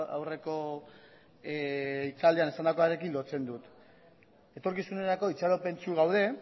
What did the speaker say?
aurreko hitzaldian esandakoarekin lotzen dut etorkizunerako itxaropentsu gaude